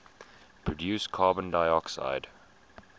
produce carbon dioxide